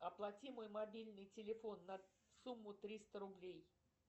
оплати мой мобильный телефон на сумму триста рублей